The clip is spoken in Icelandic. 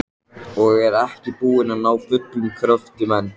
Og er ekki búin að ná fullum kröftum enn.